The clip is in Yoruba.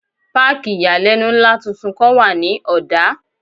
Páàkì ìyàlẹ́nu ńlá tuntun kan wà ní Ọ̀dá.